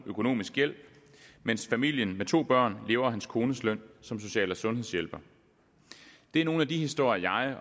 økonomisk hjælp mens familien med to børn lever af hans kones løn som social og sundhedshjælper det er nogle af de historier